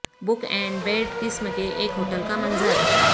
book and bed قسم کے ایک ہوٹل کا منظر